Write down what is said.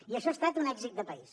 i això ha estat un èxit de país